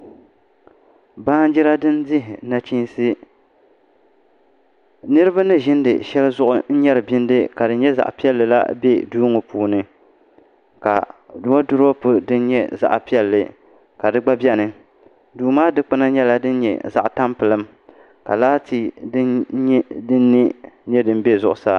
Baanjira din dihi nachiinsi niraba ni ʒiindi shɛli zuɣu n nyɛri bindi la ka di nyɛ zaɣ piɛlli la bɛ duu ŋɔ puuni ka woodurop din nyɛ zaɣ piɛlli ka di gba bɛ di puuni duu maa dikpuna nyɛla din nyɛ zaɣ tampilim ka laati nyo n bɛ zuɣusaa